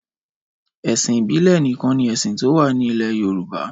Ẹ̀sìn ìbílẹ̀ nìkan ni ẹ̀sìn tó wà ní ilẹ̀ Yorùbá.